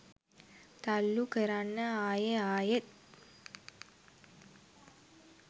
තල්ලු කරන්න ආයෙ ආයෙත්